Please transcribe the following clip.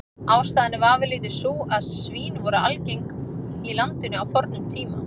Ástæðan er vafalítið sú að svín voru algeng í landinu á fornum tíma.